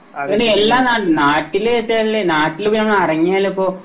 ഒരു എല്ലാ നട്ട നാട്ടിലിത്തെ എല്ലാ നാട്ടിലിപ്പോ ഞങ്ങ ഇറങ്ങിയലിപ്പം